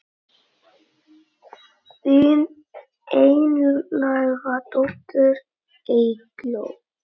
Þín einlæga dóttir Eygló.